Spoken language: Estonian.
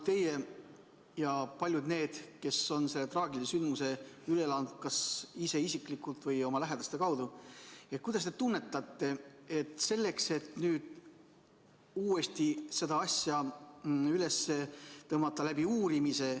Teie ja paljud teised, kes on selle traagilise sündmuse üle elanud kas ise või oma lähedaste kaudu – kuidas te tunnetate, kas nüüd peaks uuesti selle asja uurimise üles tõmbama?